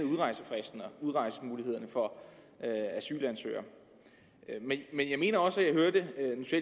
udrejsemulighederne for asylansøgere men jeg mener også at